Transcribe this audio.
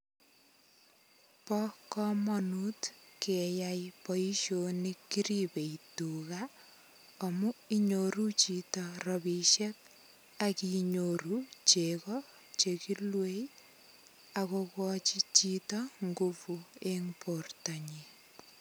Bo komonut keyai boishoni kiribei tuga amu inyoru chito robishek akinyoru chito cheko chakiluei akokochi chito ngupu eng porto nyin.